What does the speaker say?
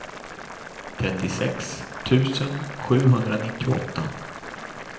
trettiosex tusen sjuhundranittioåtta